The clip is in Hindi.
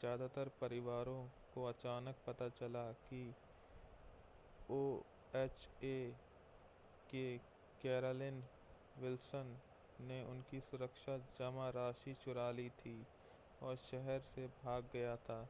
ज़्यादातर परिवारों को अचानक पता चला कि ओएचए के कैरोलिन विल्सन ने उनकी सुरक्षा जमा राशि चुरा ली थी और शहर से भाग गया था